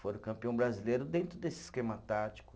Foram campeão brasileiro dentro desse esquema tático.